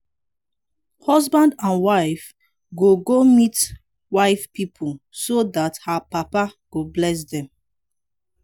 husband and wife go go meet wife pipo so dat her papa go bless dem